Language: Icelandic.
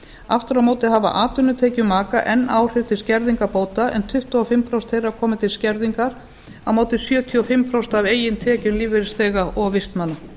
aftur á móti hafa atvinnutekjur maka enn áhrif til skerðingar bóta en tuttugu og fimm prósent þeirra koma til skerðingar á móti sjötíu og fimm prósent af eigin tekjum lífeyrisþega og vistmanna